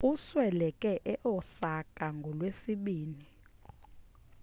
usweleke e-osaka ngolwesibini